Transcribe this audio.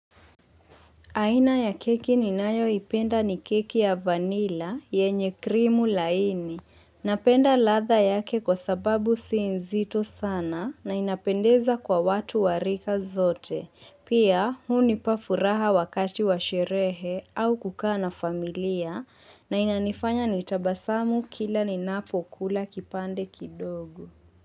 Aina ya keki ninayoipenda ni keki ya vanilla yenye krimu laini. Napenda ladha yake kwa sababu si nzito sana na inapendeza kwa watu wa rika zote. Pia hunipa furaha wakati wa sherehe au kukaa na familia na inanifanya nitabasamu kila ninapo kula kipande kidogo.